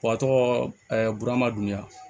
tɔgɔ burama dun ya